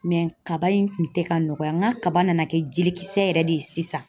kaba in kun tɛ ka nɔgɔya n ka kaba nana kɛ jelikisɛ yɛrɛ de ye sisan